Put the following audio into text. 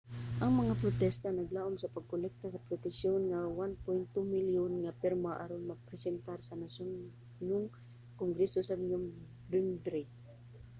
ang mga nagprotesta naglaom sa pagkolekta sa petisyon nga 1.2 milyon nga pirma aron mapresentar sa nasudnon nga kongreso sa nobyembre